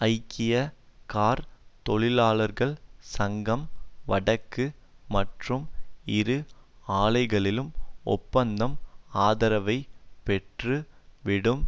ஐக்கிய கார் தொழிலாளர்கள் சங்கம் வடக்கு மற்றும் இரு ஆலைகளிலும் ஒப்பந்தம் ஆதரவை பெற்று விடும்